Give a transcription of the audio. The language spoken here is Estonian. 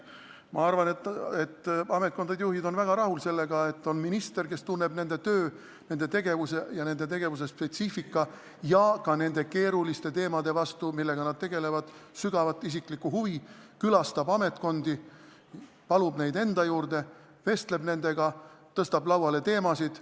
Ma arvan, et ametkondade juhid on väga rahul sellega, et on minister, kes tunneb nende töö, nende tegevuse spetsiifika ja ka nende keeruliste teemade vastu, millega nad tegelevad, sügavat isiklikku huvi, külastab ametkondi, palub juhte enda juurde, vestleb nendega, tõstab lauale teemasid.